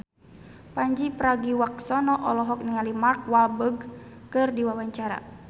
Pandji Pragiwaksono olohok ningali Mark Walberg keur diwawancara